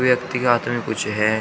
व्यक्ति के हाथ में कुछ है।